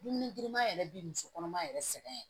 Dumuni girinman yɛrɛ bi musokɔnɔma yɛrɛ sɛgɛn